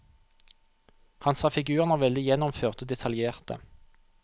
Han sa figurene var veldig gjennomførte og detaljerte.